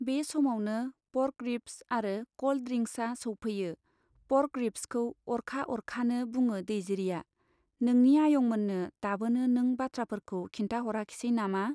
बे समावनो pork ribs आरो कल्ड ड्रिंक्सआ सौफैयो। पर्क रिब्सखौ आरखा अरखानो बुङो दैजिरिया, नोंनि आयंमोननो दाबोनो नों बाथ्राफोरखौ खिन्थाहराखिसै नामा ?